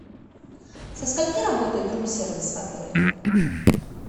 со скольки работает рум сервис в отеле